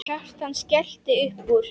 Kjartan skellti upp úr.